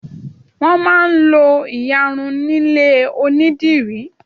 wón má n lo iyarun nílé onidiri